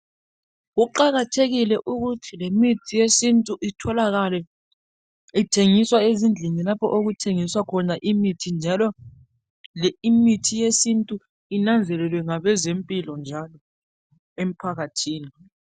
Kuqakathekile ukuthi ngemithi yesintu itholakale ezindlini lapho okuthengiswa khona imithi njalo le imithi yesintu inanzelelwe ngabezempilo njalo emphakathini